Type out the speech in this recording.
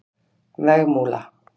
Vegmúla